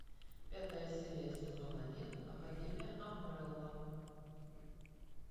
пятая серия сезон один академия амбрелла